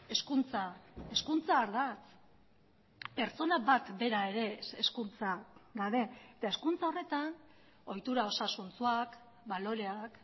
hezkuntza hezkuntza ardatz pertsona bat bera ere hezkuntza gabe eta hezkuntza horretan ohitura osasuntsuak baloreak